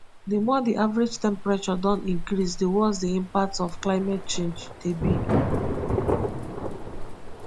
di more di average temperature don increase di worse di impacts of climate change dey be